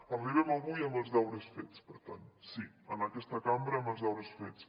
arribem a avui amb els deures fets per tant sí en aquesta cambra amb els deures fets